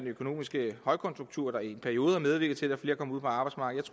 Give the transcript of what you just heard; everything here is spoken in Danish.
økonomiske højkonjunktur der i en periode har medvirket til at flere er kommet ud på arbejdsmarkedet